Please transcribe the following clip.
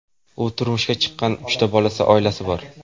U turmushga chiqqan, uchta bolasi, oilasi bor.